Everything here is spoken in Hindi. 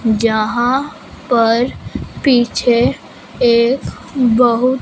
जहां पर पीछे एक बहुत--